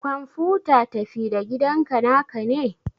kwamfuta tafi-da-gidanka naka ne?